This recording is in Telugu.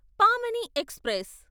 పామని ఎక్స్ప్రెస్